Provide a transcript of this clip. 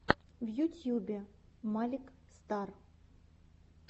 в ютьюбе малик стар